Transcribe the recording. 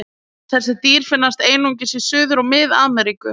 Þessi dýr finnast einungis í Suður- og Mið-Ameríku.